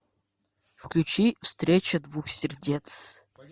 включи встреча двух сердец